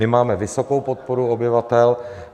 My máme vysokou podporu obyvatel.